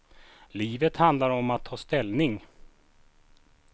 Livet handlar om att ta ställning.